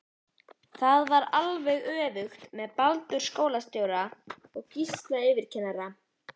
Það var alveg öfugt með Baldur skólastjóra og Gísla yfirkennara.